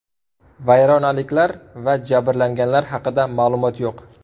Vayronaliklar va jabrlanganlar haqida ma’lumot yo‘q.